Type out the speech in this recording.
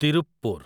Tiruppur